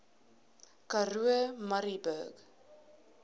karoo murrayburg